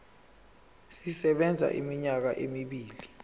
sisebenza iminyaka emibili